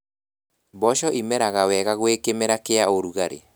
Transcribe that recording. Mboco imeraga wega gwĩ kĩmera kĩa ũrugarĩ